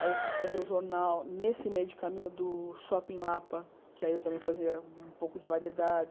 Aí eu fui fazer o jornal nesse meio de caminho do Shopping Lapa, que aí eu também fazia um pouco de variedades.